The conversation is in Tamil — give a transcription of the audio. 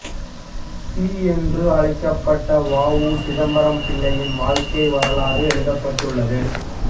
சி என்று அழைக்கப்பட்ட வ உ சிதம்பரம் பிள்ளையின் வாழ்க்கை வரலாறு எழுதப்பட்டுள்ளது